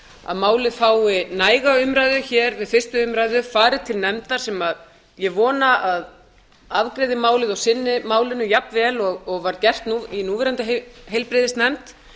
að málið fái næga umræðu við fyrsta umræða fari til nefndar sem ég vona að afgreiði málið og sinni málinu jafnvel og var gert í núverandi heilbrigðisnefnd